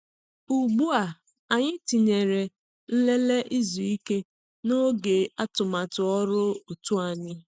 Ugbu a, anyị tinyere "nlele izu ike" n’oge atụmatụ ọrụ òtù anyị.